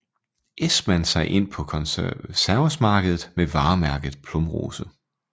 Esmann sig ind på konservesmarkedet med varemærket Plumrose